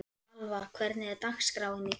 Alva, hvernig er dagskráin í dag?